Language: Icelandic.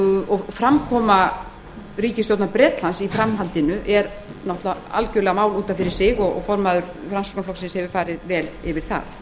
og framkoma ríkisstjórnar bretlands í framhaldinu er náttúrlega algerlega mál út af fyrir sig og formaður framsóknarflokksins hefur farið vel yfir það